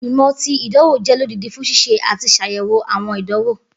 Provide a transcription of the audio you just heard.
Igbimọ ti idanwo jẹ lodidi fun ṣiṣe ati ṣayẹwo awọn idanwo